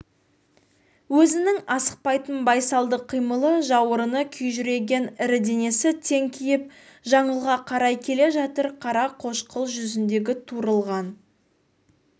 өзінің асықпайтын байсалды қимылы жауырыны күжірейген ірі денесі теңкиіп жаңылға қарай келе жатыр қара-қошқыл жүзіндегі турылған